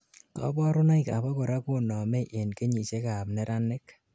kaborunoik abakora konomei en kenyisiek ab neranik